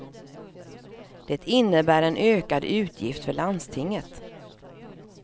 Det innebär en ökad utgift för landstinget.